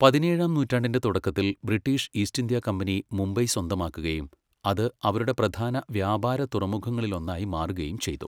പതിനേഴാം നൂറ്റാണ്ടിന്റെ തുടക്കത്തിൽ British East India company Mumbai സ്വന്തമാക്കുകയും അത് അവരുടെ പ്രധാന വ്യാപാര തുറമുഖങ്ങളിലൊന്നായി മാറുകയും ചെയ്തു.